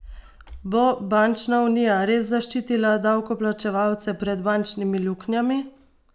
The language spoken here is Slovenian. Bo bančna unija res zaščitila davkoplačevalce pred bančnimi luknjami?